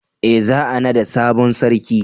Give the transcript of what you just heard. eh za a nada sabon sarki